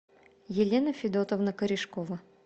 елена федотовна корешкова